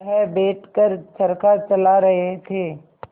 वह बैठ कर चरखा चला रहे थे